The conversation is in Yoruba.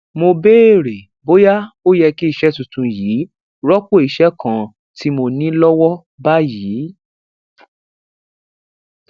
mo béèrè bóyá ó yẹ kí iṣé tuntun yìí rópò iṣé kan tí mo ní lówó báyìí